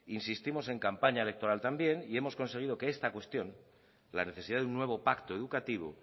insistimos en campaña electoral también y hemos conseguido que esta cuestión la necesidad de un nuevo pacto educativo